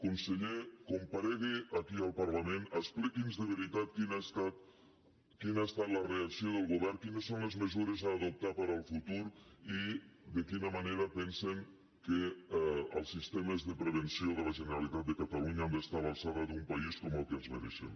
conseller comparegui aquí al parlament expliqui’ns de veritat quina ha estat la reacció del govern quines són les mesures a adoptar per al futur i de quina manera pensen que els sistemes de prevenció de la generalitat de catalunya han d’estar a l’alçada d’un país com el que ens mereixem